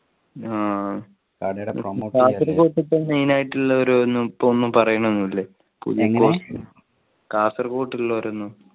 ആഹ് main ആയിട്ടുള്ള ഒരു ഒന്നുമിപ്പോ ഒന്നും പറയുന്നൊന്നും ഇല്ലേ കാസർഗോട്ട് ഉള്ളവരൊന്നും